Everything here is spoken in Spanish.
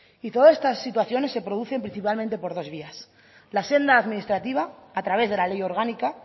y todas estas situaciones se producen principalmente por dos vías la senda administrativa a través de la ley orgánica